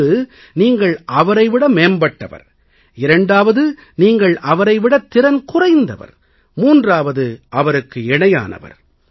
ஒன்று நீங்கள் அவரை விட மேம்பட்டவர் இரண்டாவது நீங்கள் அவரை விடத் திறன் குறைந்தவர் மூன்றாவது அவருக்கு இணையானவர்